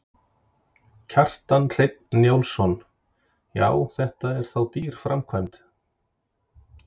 Kjartan Hreinn Njálsson: Já, þetta er þá dýr framkvæmd?